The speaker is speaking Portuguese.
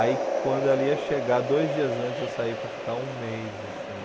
Aí quando ela ia chegar, dois dias antes eu saí para ficar um mês, assim.